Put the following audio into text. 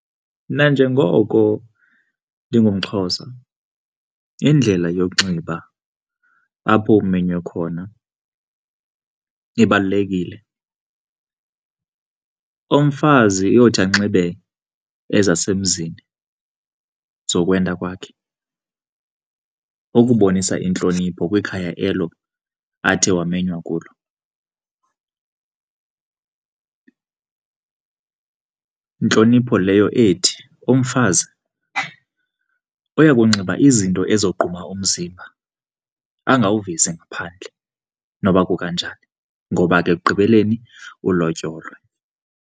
Mna njengoko ndingumXhosa, indlela yokunxiba apho umenywe khona ibalulekile. Umfazi uyothi anxibe ezasemzini zokwenda kwakhe ukubonisa intlonipho kwikhaya elo athe wamenywa kulo. Intlonipho leyo ethi umfazi uyakunxiba izinto ezogquma umzimba, angawuvezi ngaphandle noba kukanjani ngoba ekugqibeleni ulotyolwe.